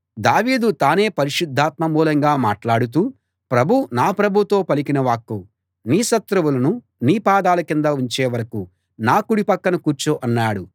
దావీదు తానే పరిశుద్ధాత్మ మూలంగా మాట్లాడుతూ ప్రభువు నా ప్రభువుతో పలికిన వాక్కు నీ శత్రువులను నీ పాదాల కింద ఉంచే వరకూ నా కుడి పక్కన కూర్చో అన్నాడు